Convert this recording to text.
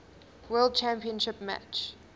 world championship match